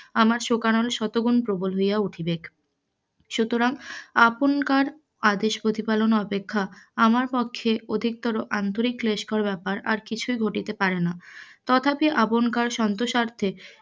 আমার শোকানল শতগুণ প্রবল হইয়া উঠবে, সুতরাং আপনকার আদেশ প্রতিপালন অপেক্ষা আমার পক্ষে অধিকতর আন্তরিক ক্লেশকর ব্যাপার আর কিছুই ঘটিতে পার না, তথাপি আপনকার সন্তোস্বার্থে,